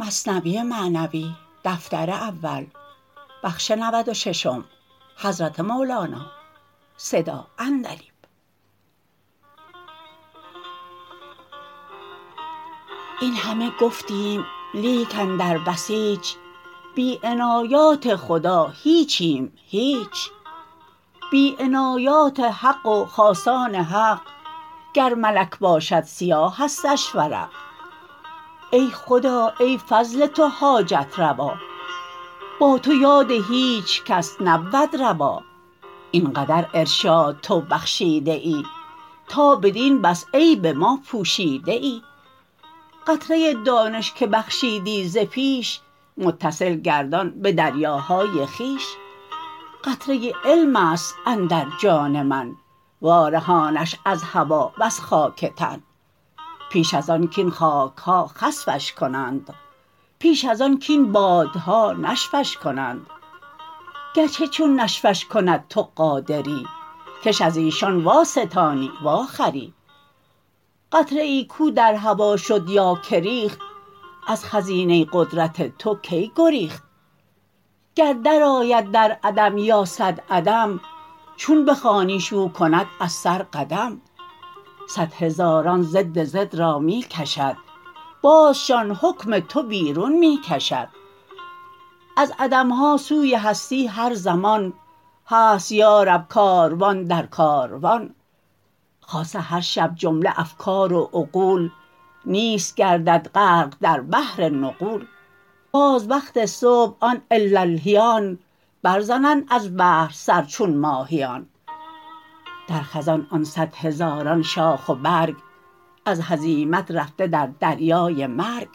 این همه گفتیم لیک اندر بسیچ بی عنایات خدا هیچیم هیچ بی عنایات حق و خاصان حق گر ملک باشد سیاهستش ورق ای خدا ای فضل تو حاجت روا با تو یاد هیچ کس نبود روا این قدر ارشاد تو بخشیده ای تا بدین بس عیب ما پوشیده ای قطره دانش که بخشیدی ز پیش متصل گردان به دریاهای خویش قطره علمست اندر جان من وارهانش از هوا وز خاک تن پیش از آن کین خاکها خسفش کنند پیش از آن کین بادها نشفش کنند گرچه چون نشفش کند تو قادری کش ازیشان وا ستانی وا خری قطره ای کو در هوا شد یا که ریخت از خزینه قدرت تو کی گریخت گر در آید در عدم یا صد عدم چون بخوانیش او کند از سر قدم صد هزاران ضد ضد را می کشد بازشان حکم تو بیرون می کشد از عدمها سوی هستی هر زمان هست یا رب کاروان در کاروان خاصه هر شب جمله افکار و عقول نیست گردد غرق در بحر نغول باز وقت صبح آن اللهیان بر زنند از بحر سر چون ماهیان در خزان آن صد هزاران شاخ و برگ از هزیمت رفته در دریای مرگ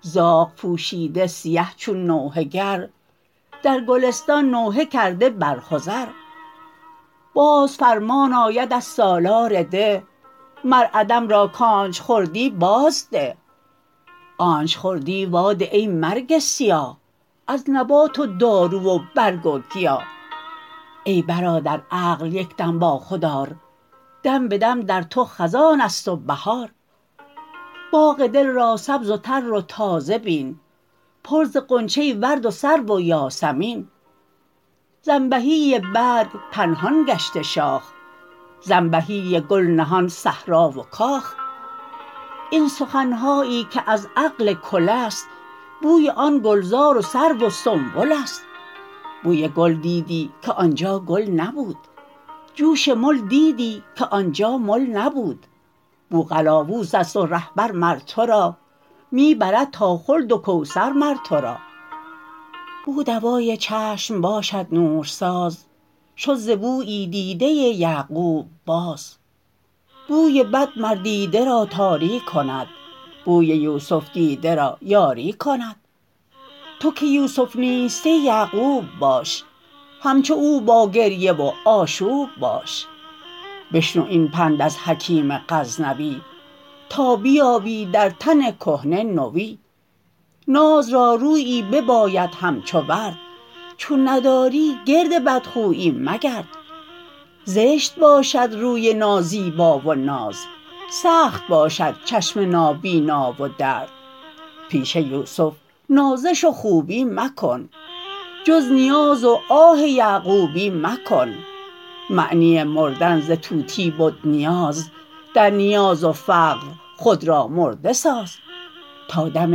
زاغ پوشیده سیه چون نوحه گر در گلستان نوحه کرده بر خضر باز فرمان آید از سالار ده مر عدم را کانچ خوردی باز ده آنچ خوردی وا ده ای مرگ سیاه از نبات و دارو و برگ و گیاه ای برادر عقل یکدم با خود آر دم بدم در تو خزانست و بهار باغ دل را سبز و تر و تازه بین پر ز غنچه و ورد و سرو و یاسمین ز انبهی برگ پنهان گشته شاخ ز انبهی گل نهان صحرا و کاخ این سخنهایی که از عقل کلست بوی آن گلزار و سرو و سنبلست بوی گل دیدی که آنجا گل نبود جوش مل دیدی که آنجا مل نبود بو قلاووزست و رهبر مر ترا می برد تا خلد و کوثر مر ترا بو دوای چشم باشد نورساز شد ز بویی دیده یعقوب باز بوی بد مر دیده را تاری کند بوی یوسف دیده را یاری کند تو که یوسف نیستی یعقوب باش همچو او با گریه و آشوب باش بشنو این پند از حکیم غزنوی تا بیابی در تن کهنه نوی ناز را رویی بباید همچو ورد چون نداری گرد بدخویی مگرد زشت باشد روی نازیبا و ناز سخت باشد چشم نابینا و درد پیش یوسف نازش و خوبی مکن جز نیاز و آه یعقوبی مکن معنی مردن ز طوطی بد نیاز در نیاز و فقر خود را مرده ساز تا دم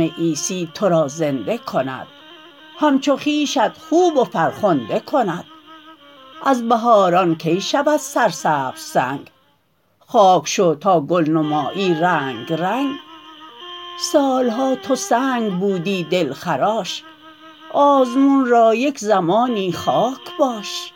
عیسی ترا زنده کند همچو خویشت خوب و فرخنده کند از بهاران کی شود سرسبز سنگ خاک شو تا گل نمایی رنگ رنگ سالها تو سنگ بودی دل خراش آزمون را یک زمانی خاک باش